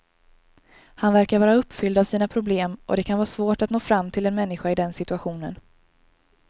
Han verkar vara uppfylld av sina problem och det kan vara svårt att nå fram till en människa i den situationen.